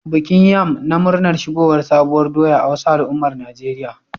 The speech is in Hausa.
Bikin yam na murnar shigowar sabuwar doya a wasu al'ummar Najeriya